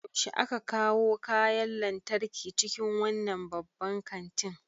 Yaushe aka kawo kayan lantarki cikin wannan babban kantin?